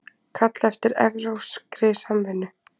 Kalla eftir evrópskri samvinnu